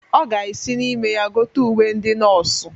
Ọ ga-esi n'ime ya gote uwe ndị nọọsụ.